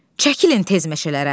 Çəkilin tez meşələrə.